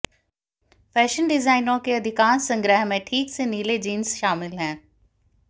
fashion डिजाइनरों के अधिकांश संग्रह में ठीक से नीले जींस शामिल हैं